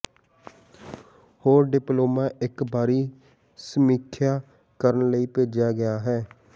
ਹੋਰ ਡਿਪਲੋਮਾ ਇੱਕ ਬਾਹਰੀ ਸਮੀਖਿਆ ਕਰਨ ਲਈ ਭੇਜਿਆ ਗਿਆ ਹੈ